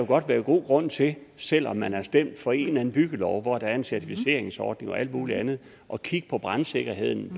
godt være god grund til selv om man er stemt for en eller anden byggelov hvor der er en certificeringsordning og alt muligt andet at kigge på brandsikkerheden